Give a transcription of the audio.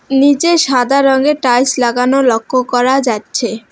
নীচে সাদা রঙের টাইলস লাগানো লক্ষ্য করা যাচ্ছে।